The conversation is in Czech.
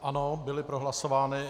Ano, byly prohlasovány.